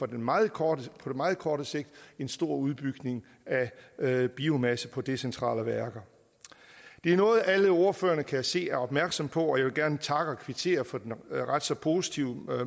den meget korte meget korte sigt en stor udbygning af biomasse på decentrale værker det er noget alle ordførerne kan se og er opmærksom på og jeg vil gerne takke og kvittere for en ret så positiv